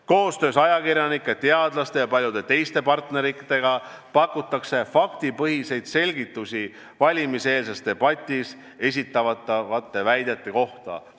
Koostöös ajakirjanike, teadlaste ja paljude teiste partneritega pakutakse faktipõhiseid selgitusi valimiseelses debatis esitatavate väidete kohta.